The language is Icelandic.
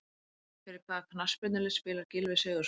Fyrir hvaða knattspyrnulið spilar Gylfi Sigurðsson?